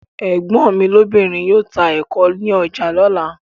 Ẹ̀gbọ́n mi lóbìnrin yóò ta ẹ̀ko ní ọjà lọ́la.